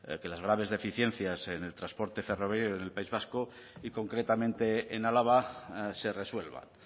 que las graves deficiencias en el transporte ferroviario en el país vasco y concretamente en álava se resuelvan